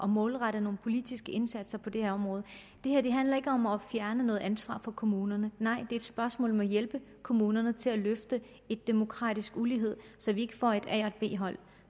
målrette nogle politiske indsatser på det her område det her handler ikke om at fjerne noget ansvar fra kommunerne nej det er et spørgsmål om at hjælpe kommunerne til at løfte en demokratisk ulighed så vi ikke får et a og et b hold